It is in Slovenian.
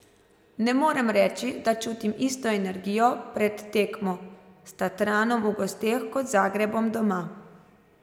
Ne morem reči, da čutim isto energijo pred tekmo s Tatranom v gosteh kot z Zagrebom doma.